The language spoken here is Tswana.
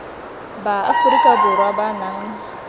ba aforika borwa ba nang